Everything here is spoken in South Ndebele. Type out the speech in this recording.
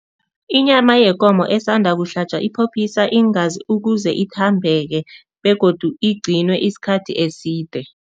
Inyama yekomo esanda kuhlatjwa iphophiswa iingazi ukuze ithambeke begodu igcinwe isikhathi eside.